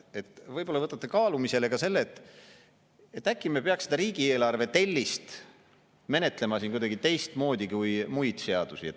Ehk võtate kaalumisele ka selle, et äkki me peaks riigieelarve tellist menetlema kuidagi teistmoodi kui muid seadusi.